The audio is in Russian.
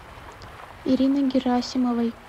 ириной герасимовой